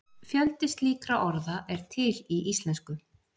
Fjöldi slíkra orða er til í íslensku.